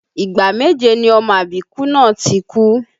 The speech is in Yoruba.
Ìgbà méje ni ọmọ àbíkú náà ti kú